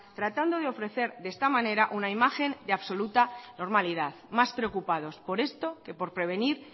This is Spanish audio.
tratando de ofrecer de esta manera una imagen de absoluta normalidad más preocupados por esto que por prevenir